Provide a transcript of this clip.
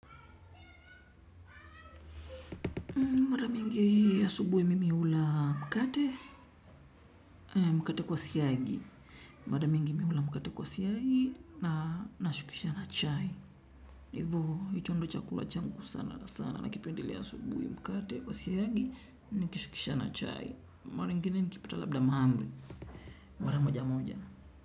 Muda mwingi asubuhi mimi hula mkate, mkate kwa siyagi. Muda mwingi mimi hula mkate kwa siagi na nashukisha na chai. Hivo, hicho ndio chakula changu sana sana na kipendele asubuhi mkate kwa siyagi, nikishukisha na chai. Mara ingine nikipita labda maambri. Mwara moja moja.